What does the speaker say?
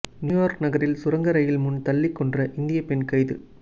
New York நகரில் சுரங்க rail முன் தள்ளி கொன்ற இந்திய பெண் கைது